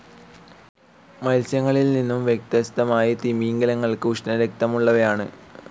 മത്സ്യങ്ങളിൽ നിന്നും വ്യത്യസ്തമായി തിമിംഗിലങ്ങൾ ഉഷ്ണരക്തമുള്ളവയാണ്.